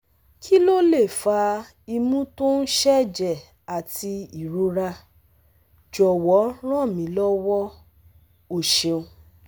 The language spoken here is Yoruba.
Ki lo le fa imu to n seje ati irora? Jowo ran mi lowo! O seun!